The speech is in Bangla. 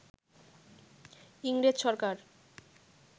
ইংরেজ সরকার